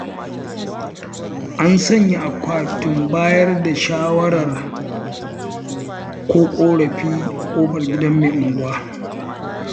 An sanya akwatun bayar da shawara ko ƙorafi a ƙofar gidan mai unguwa.